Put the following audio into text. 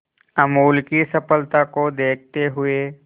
अमूल की सफलता को देखते हुए